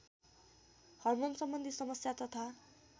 हार्मोनसम्बन्धी समस्या तथा